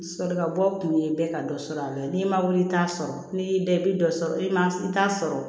Solokabɔ kun ye bɛɛ ka dɔ sɔrɔ a la n'i ma wuli i t'a sɔrɔ ni dɔ i bɛ dɔ sɔrɔ i ma i t'a sɔrɔ